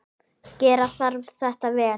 Gera þarf þetta vel.